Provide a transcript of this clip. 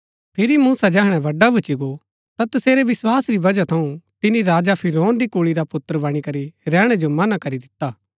फिरी मूसा जैहणै बड़ा भूच्ची गो ता तसेरै विस्वास री वजह थऊँ तिनी राजा फिरौन री कुल्ळी रा पुत्र बणी करी रैहणै जो मना करी दिता